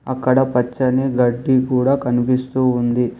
అక్కడ పచ్చని గడ్డి కూడా కనిపిస్తూ ఉంది.